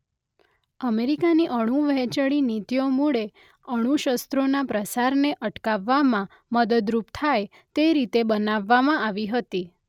અમેરિકાની અણુ વહેંચણી નીતિઓ મૂળે અણુશસ્ત્રોના પ્રસારને અટકાવવામાં મદદરૂપ થાય તે રીતે બનાવવામાં આવી હતી.